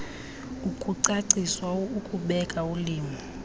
ukucaciswa ukubeka ulimo